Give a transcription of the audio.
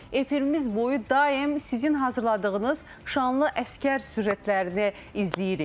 Çünki biz efirimiz boyu daim sizin hazırladığınız şanlı əsgər süjetlərini izləyirik.